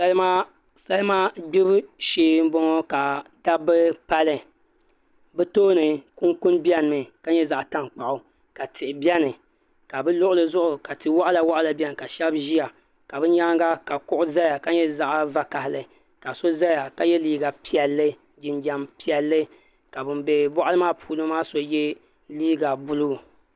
Salima gbibu shee n boŋo ka dabba pali bi tooni kunkun biɛni mi ka nyɛ zaɣ tankpaɣu ka tihi biɛni ka bi luɣuli zuɣu ka tia waɣala waɣala biɛni ka shab ʒiya ka bi nyaanga ka kuɣu ʒɛya ka nyɛ zaɣ vakaɣali ka so ʒɛya la yɛ liiga piɛlli jinjɛm piɛlli ka bin bɛ boɣali maa puuni maa so yɛ liiga buluu